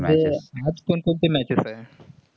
आज कोण कोणते matches आहेत.